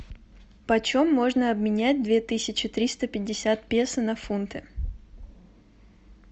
по чем можно обменять две тысячи триста пятьдесят песо на фунты